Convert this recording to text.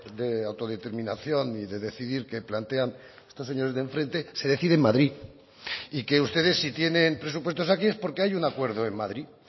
de autodeterminación y de decidir que plantean estos señores de enfrente se decide en madrid y que ustedes si tienen presupuestos aquí es porque hay un acuerdo en madrid